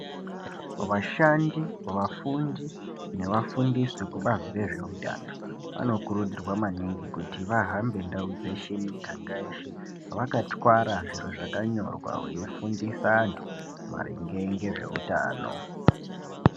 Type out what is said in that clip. Vashandi, vafundi nevafundisi vekubazi rezveutano vanokurudzirwa maningi kuti vahambe ndau dzeshe miganga yeshe vakatwara zviro zvakanyorwa veifundisa antu maringe ngezveutano.